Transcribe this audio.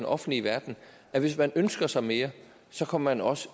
offentlige verden at hvis man ønsker sig mere kommer man også